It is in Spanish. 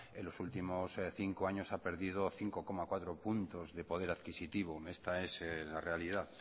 en los últimos cinco años ha perdido cinco coma cuatro puntos de poder adquisitivo esta es la realidad